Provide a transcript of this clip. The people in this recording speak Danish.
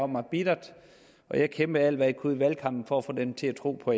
mig bittert og jeg kæmpede alt hvad jeg kunne i valgkampen for at få dem til at tro på